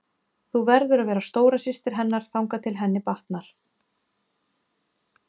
Þú verður að vera stóra systir hennar þangað til henni batnar.